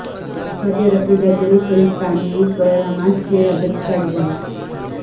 سعودی عرب میں درجنوں فلسطینیوں پر حماس سے ربط کا الزام